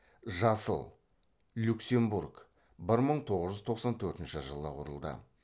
жасыл люксембург бір мың тоғыз жүз тоқсан төртінші жылы құрылды